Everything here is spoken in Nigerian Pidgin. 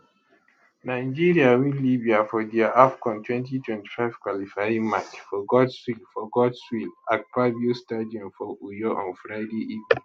nigeria win libya for dia afcon 2025 qualifying match for godswill for godswill akpabio stadium for uyo on friday evening